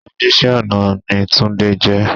Oníṣẹ́ ọ̀nà ni túndé jẹ.